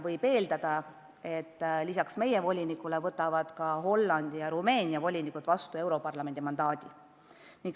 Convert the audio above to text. Võib eeldada, et lisaks meie volinikule võtavad ka Hollandi ja Rumeenia volinik vastu europarlamendi mandaadi.